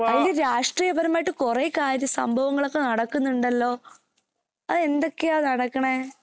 അതില് രാഷ്ട്രീയപരമായിട്ട് കുറെ കാര്യ സംഭവങ്ങളൊക്കെ നടക്കാനുണ്ടല്ലോ അതെന്തൊക്കെയാ നടക്കണേ